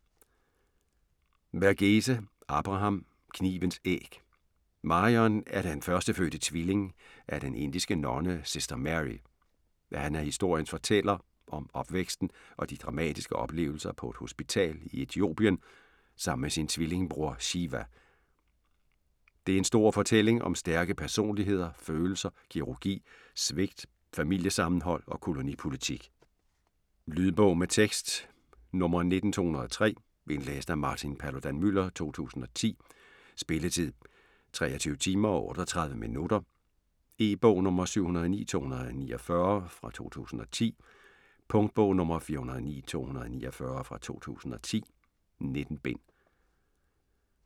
Verghese, Abraham: Knivens æg Marion er den førstefødte tvilling af den indiske nonne Sister Mary. Han er historiens fortæller om opvæksten og de dramatiske oplevelser på et hospital i Etiopien sammen med sin tvillingbror, Shiva. Det er en stor fortælling om stærke personligheder, følelser, kirurgi, svigt, familiesammenhold og kolonipolitik. Lydbog med tekst 19203 Indlæst af Martin Paludan-Müller, 2010. Spilletid: 23 timer, 38 minutter. E-bog 709249 2010. Punktbog 409249 2010. 19 bind.